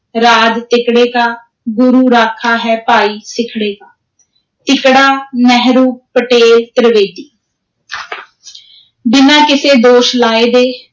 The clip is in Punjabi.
ਰਾਜ ਤਿਕੜੇ ਕਾ, ਗੁਰੂ ਰਾਖਾ ਹੈ ਭਾਈ ਸਿੱਖੜੇ ਕਾ, ਤਿਕੜਾ ਨਹਿਰੂ, ਪਟੇਲ, ਤ੍ਰਿਵੇਦੀ ਬਿਨਾਂ ਕਿਸੇ ਦੋਸ਼ ਲਾਏ ਦੇ,